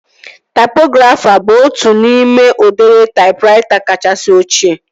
Taipografa bụ otu n'ime udiri taipraita kachasị ochie